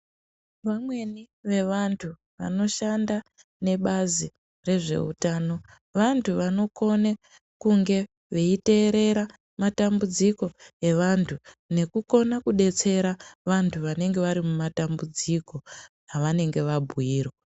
Vamweni vevantu vanoshanda nebazi rezveutano vantu vanokone kunge veiteerera matambudziko evantu nekukona kudetsera vantu vanenge vari mumatambudziko avanenge vabhuyirwa.